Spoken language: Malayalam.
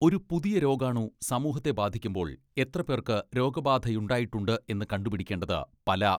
ഒരു പുതിയ രോഗാണു സമൂഹത്തെ ബാധിക്കുമ്പോൾ എത്രപേർക്ക് രോഗബാധയുണ്ടായിട്ടുണ്ട് എന്ന് കണ്ടുപിടിക്കേണ്ടത് പല